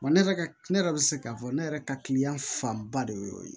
ne yɛrɛ ne yɛrɛ bɛ se k'a fɔ ne yɛrɛ ka kiliyan fanba de y'o ye